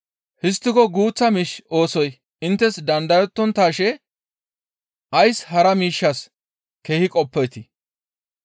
Histtiko guuththa miish oosoy inttes dandayettonttaashe ays hara miishshas keehi qoppeetii?